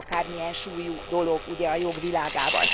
Nem akármilyen súlyú dolog ugye a jog világában.